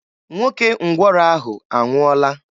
Nwoke ngwọrọ ahụ anwụọọla.